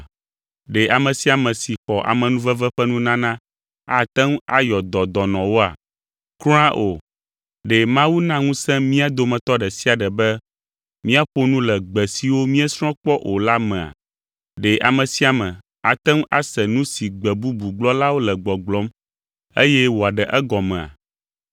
Ɖe ame sia ame si xɔ amenuveve ƒe nunana ate ŋu ayɔ dɔ dɔnɔwoa? Kura o! Ɖe Mawu na ŋusẽ mía dometɔ ɖe sia ɖe be míaƒo nu le gbe siwo míesrɔ̃ kpɔ o la mea? Ɖe ame sia ame ate ŋu ase nu si gbe bubu gblɔlawo le gbɔgblɔm, eye wòaɖe egɔmea?